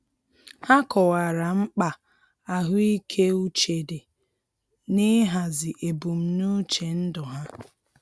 Ha kọwara mkpa ahụike uche di n'ihazi ebumnuche ndụ ha.